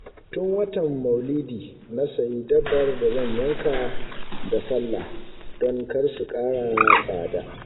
Tun watan maulidi na sayi dabbar da zan yanka da sallah don kar su ƙara tsada